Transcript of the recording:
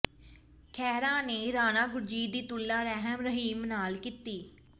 ਖਹਿਰਾ ਨੇ ਰਾਣਾ ਗੁਰਜੀਤ ਦੀ ਤੁਲਨਾ ਰਾਮ ਰਹੀਮ ਨਾਲ ਕੀਤੀ